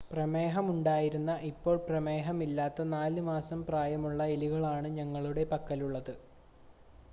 പ്രമേഹമുണ്ടായിരുന്ന ഇപ്പോൾ പ്രമേഹമില്ലാത്ത 4 മാസം പ്രായമുള്ള എലികളാണ് ഞങ്ങളുടെ പക്കലുള്ളത്